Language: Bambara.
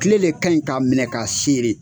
kile le kaɲi k'a minɛ k'a sere